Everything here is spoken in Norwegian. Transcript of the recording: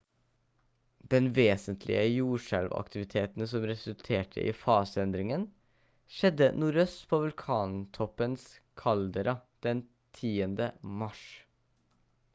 den vesentlige jordskjelvaktiviteten som resulterte i fase-endringen skjedde nordøst på vulkantoppens kaldera den 10. mars